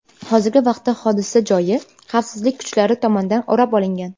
Hozirgi vaqtda hodisa joyi xavfsizlik kuchlari tomonidan o‘rab olingan.